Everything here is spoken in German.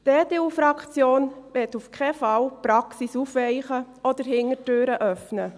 Die EDU-Fraktion möchte auf keinen Fall die Praxis aufweichen oder Hintertüren öffnen.